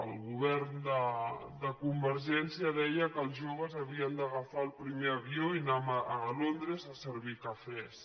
el govern de convergència deia que els joves havien d’agafar el primer avió i anar a londres a servir cafès